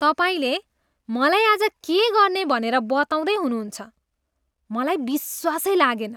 तपाईँले मलाई आज के गर्ने भनेर बताउँदै हुनुहुन्छ। मलाई विश्वासै लागेन।